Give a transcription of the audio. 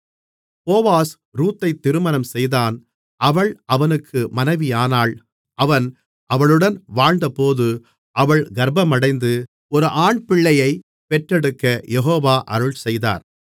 Boaz ரூத்தைத் திருமணம் செய்தான் அவள் அவனுக்கு மனைவியானாள் அவன் அவளுடன் வாழ்ந்தபோது அவள் கர்ப்பமடைந்து ஒரு ஆண்பிள்ளையைப் பெற்றெடுக்கக் யெகோவா அருள்செய்தார்